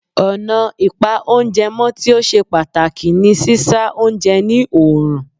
Ọ̀nà ìpa oúnjẹ mọ́ tí ó ṣe pàtàkì ni sísá oúnje ní oòrùn.